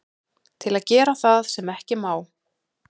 Til að gera það sem ekki má.